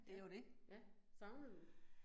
Ja, ja, savner du det?